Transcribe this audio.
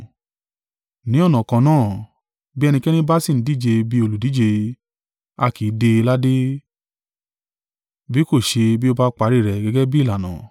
Ní ọ̀nà kan náà, bí ẹnikẹ́ni bá sì ń díje bí olùdíje, a kì í dé e ládé, bí kò ṣe bí ó bá parí rẹ̀ gẹ́gẹ́ bí ìlànà